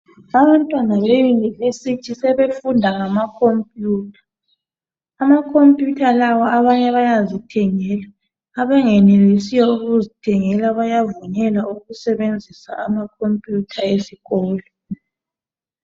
Abantwana beYunivesithi sebefunda ngamakhompiyutha. Amakhompiyutha lawo abanye bayazithengela abangenelisiyo ukuzithengela bayavunyelwa ukusebenzisa amakhompiyutha esikolo.